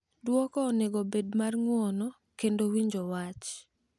Dwoko onego obed mar ng’uono kendo winjo wach